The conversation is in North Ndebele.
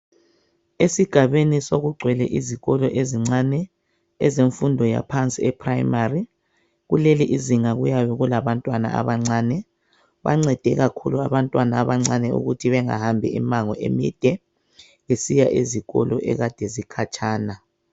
Esigabeni sokugcwele izikolo ezincane ezemfundo yaphansi ephuremari. Kuleli izinga kuyabe kulabantwana abancane. Bancede kakhulu abantwana abancane ukuthi bengahambi imango emide besiya ezikolo ekade zikhatshana.